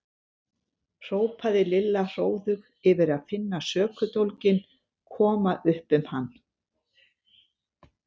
hrópaði Lilla hróðug yfir að finna sökudólginn koma upp um hann.